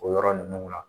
O yɔrɔ ninnu la